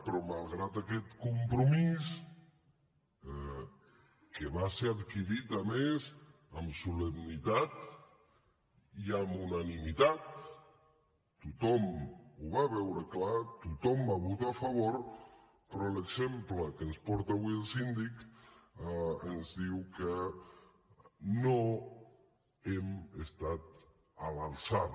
però malgrat aquest compromís que va ser adquirit a més amb solemnitat i amb unanimitat tothom ho va veure clar tothom va votar a favor però l’exemple que ens porta avui el síndic ens diu que no hem estat a l’alçada